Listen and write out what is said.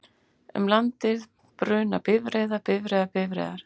Um landið bruna bifreiðar, bifreiðar, bifreiðar,